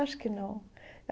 Acho que não.